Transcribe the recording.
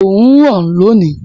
Òòrùn ń ràn lónìí.